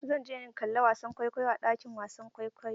Zan je in kalla wasan kwaikwayo a ɗakin wasan kwaikwayo.